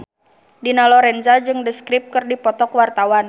Dina Lorenza jeung The Script keur dipoto ku wartawan